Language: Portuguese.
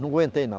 Não aguentei, não.